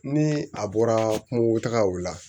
Ni a bɔra kungotagaw la